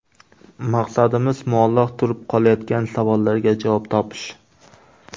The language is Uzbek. Maqsadimiz muallaq turib qolayotgan savollarga javob topish.